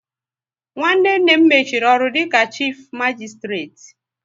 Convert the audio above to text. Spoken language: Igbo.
Nwanne nne m mechiri ọrụ dịka chifu magisitireti